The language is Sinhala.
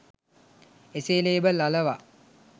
එසේ ‍ලේබල් අලවා